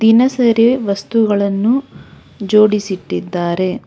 ದಿನ ಸರಿ ವಸ್ತುಗಳನ್ನು ಜೋಡಿಸಿ ಇಟ್ಟಿದ್ದಾರೆ.